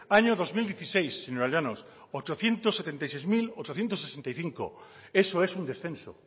año dos mil dieciséis señora llanos ochocientos setenta y seis mil ochocientos sesenta y cinco eso es un descenso